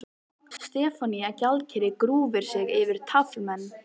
Stefanía gjaldkeri grúfir sig yfir taflmenn.